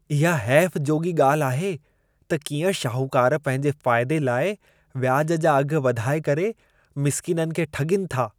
इहा हैफ़ जोॻी ॻाल्हि आहे त कीअं शाहूकार पंहिंजे फ़ाइदे लाइ व्याज जा अघ वधाए करे मिसकीननि खे ठॻीनि था।